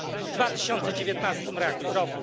w 2019